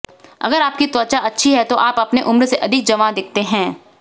अगर आपकी त्वचा अच्छी है तो आप अपने उम्र से अधिक जवां दिखते हैं